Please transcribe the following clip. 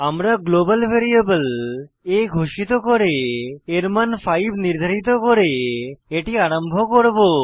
আমরা global variable a ঘোষিত করে এর মান 5 নির্ধারিত করে এটি আরম্ভ করব